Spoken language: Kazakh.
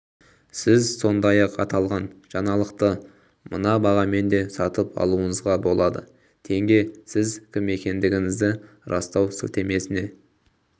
сіз сондай-ақ аталған жаңалықты мына бағамен де сатып алуыңызға болады тенге сіз кім екендігіңізді растау сілтемесіне